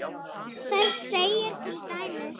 Þar segir til dæmis